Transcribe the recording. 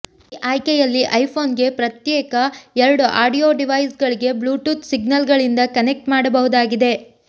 ಈ ಆಯ್ಕೆಯಲ್ಲಿ ಐಫೋನ್ಗೆ ಪ್ರತ್ಯೇಕ್ ಎರಡು ಆಡಿಯೊ ಡಿವೈಸ್ಗಳಿಗೆ ಬ್ಲೂಟೂತ್ ಸಿಗ್ನಲ್ಗಳಿಂದ ಕನೆಕ್ಟ್ ಮಾಡಬಹುದಾಗಿದೆ